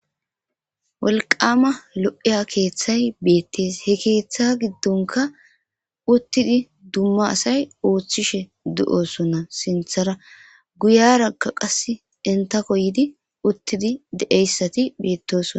wolqama lo7iya keeththay beettes he keeththa giddonka uttidi dumma asay ooththishe de7osonna sinthara guyarakka qas intako yiidi uttidi de7eyssati beettosona